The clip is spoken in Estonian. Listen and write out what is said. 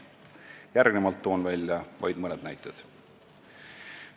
Järgnevalt toon vaid mõned näited.